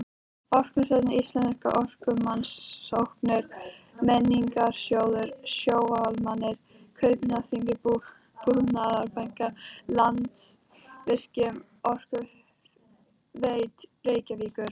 Orkustofnun, Íslenskar orkurannsóknir, Menningarsjóður, Sjóvá-Almennar, Kaupþing-Búnaðarbanki, Landsvirkjun, Orkuveita Reykjavíkur